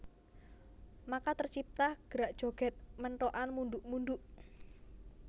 Maka tercipta Gerak Joget Menthokan munduk munduk